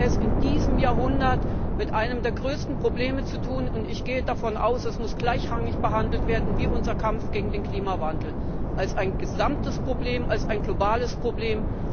Wir haben es in diesem Jahrhundert mit einem der größten Probleme zu tun, und ich gehe davon aus, es muss gleichrangig behandelt werden wie unser Kampf gegen den Klimawandel, als ein gesamtes Problem, als ein globales Problem.